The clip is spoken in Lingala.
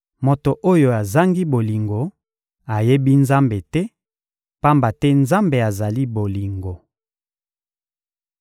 Moto oyo azangi bolingo ayebi Nzambe te, pamba te Nzambe azali bolingo.